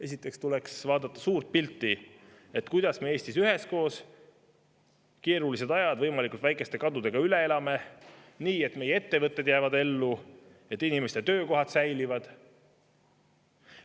Esiteks tuleks vaadata suurt pilti, kuidas me Eestis keerulised ajad võimalikult väikeste kadudega üheskoos üle saaksime elada nii, et meie ettevõtted jääksid ellu ja inimeste töökohad säiliksid.